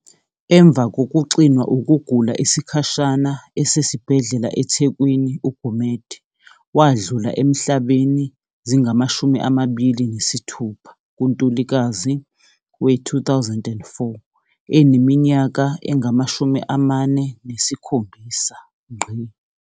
Emva kokuxinwa ukugula isikhashana esesibhedlela eThekwini uGumede wadlula emhlabeni mhla zi-26 kuNtulikazi we-2004 eneminyaka engama-47.